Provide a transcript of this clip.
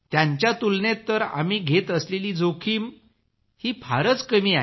त्यांच्या तुलनेत तर आम्ही घेत असलेली जोखीम ही फारच कमी आहे